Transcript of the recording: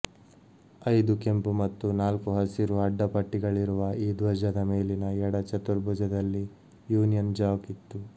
ಐದು ಕೆಂಪು ಮತ್ತು ನಾಲ್ಕು ಹಸಿರು ಅಡ್ಡ ಪಟ್ಟೆಗಳಿರುವ ಈ ಧ್ವಜದ ಮೇಲಿನ ಎಡ ಚತುರ್ಭುಜದಲ್ಲಿ ಯೂನಿಯನ್ ಜಾಕ್ ಇತ್ತು